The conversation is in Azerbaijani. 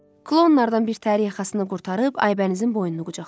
Klonlardan bir təri yaxasını qurtarıb Aybənizin boynunu qucaqladı.